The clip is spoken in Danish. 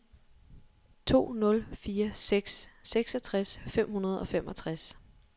to nul fire seks seksogtres fem hundrede og femogtres